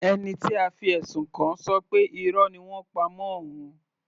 Ẹni tí a fi ẹ̀sùn kàn ṣọ pé Irọ́ ni wọ́n ń pa mọ́ òun.